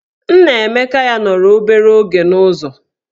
Nnaemeka ya nọrọ obere oge n'ụzọ.